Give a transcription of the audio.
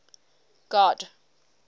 god